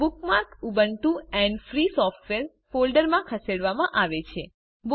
bookmark Ubuntu and free software ફોલ્ડરમાં ખસેડવામાં આવે છે